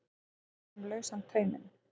Að gefa einhverjum lausan tauminn